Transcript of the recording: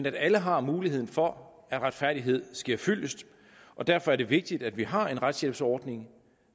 at alle har muligheden for at retfærdigheden sker fyldest og derfor er det vigtigt at vi har en retshjælpsordning